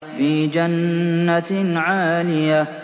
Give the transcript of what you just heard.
فِي جَنَّةٍ عَالِيَةٍ